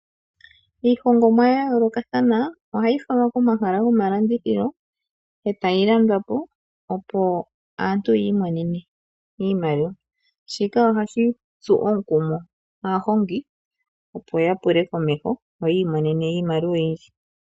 Iihongomwa ya yoolokathana ohayi falwa komahala gomalandithilo e tayi landwa po, opo aantu yi imonene iimaliwa. Shika ohashi tsu aahongi omukumo, opo ya pule komeho, opo yi imonene iimaliwa oyindji.